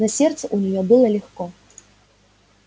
на сердце у неё было легко